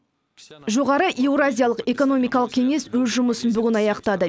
жоғары еуразиялық экономикалық кеңес өз жұмысын бүгін аяқтады